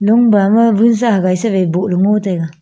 long bama vunsa hagai se vai bohley ngo taiga.